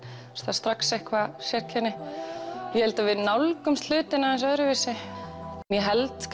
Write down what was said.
er strax eitthvað sérkenni ég held að við nálgumst hlutina aðeins öðruvísi ég held